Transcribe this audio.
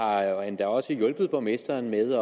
jeg har endda også hjulpet borgmesteren med